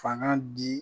Fanga di